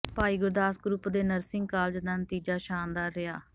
ਭਾਈ Gurdas group ਦੇ nursing college ਦਾ ਨਤੀਜਾ ਸ਼ਾਨਦਾਰ ਰਿਹਾ